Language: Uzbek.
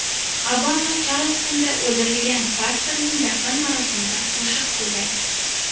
Obama Charlstonda o‘ldirilgan pastorning dafn marosimida qo‘shiq kuyladi.